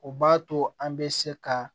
O b'a to an bɛ se ka